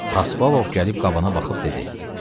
Xaspabov gəlib qabana baxıb dedi: